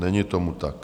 Není tomu tak.